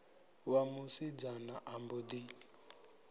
wa musidzana a mbo ḓi